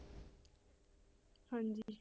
ਹਾਂਜੀ।